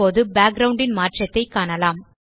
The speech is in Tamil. இப்போது பேக்கிரவுண்ட் ன் மாற்றத்தை காணலாம்